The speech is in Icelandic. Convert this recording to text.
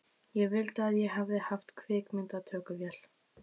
Ég vildi að ég hefði haft kvikmyndatökuvél.